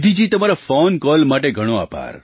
નિધિજી તમારા phone call માટે ઘણો આભાર